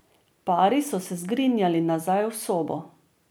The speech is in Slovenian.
Pari so se zgrinjali nazaj v sobo.